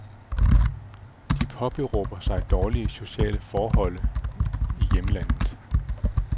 De påberåber sig dårlige sociale forhold i hjemlandet.